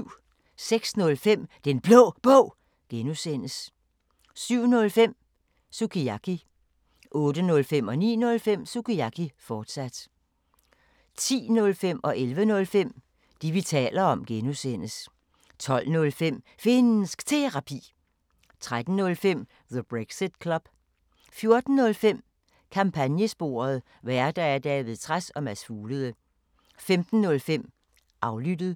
06:05: Den Blå Bog (G) 07:05: Sukiyaki 08:05: Sukiyaki, fortsat 09:05: Sukiyaki, fortsat 10:05: Det, vi taler om (G) 11:05: Det, vi taler om (G) 12:05: Finnsk Terapi 13:05: The Brexit Club 14:05: Kampagnesporet: Værter: David Trads og Mads Fuglede 15:05: Aflyttet